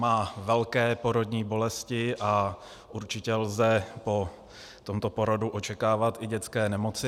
Má velké porodní bolesti a určitě lze po tomto porodu očekávat i dětské nemoci.